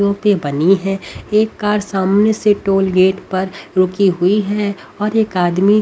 बनी है एक कार सामने से टोल गेट पर रुकी हुई है और एक आदमी--